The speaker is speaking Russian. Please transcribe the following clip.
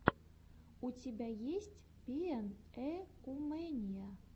у тебя есть пиэнэумэниа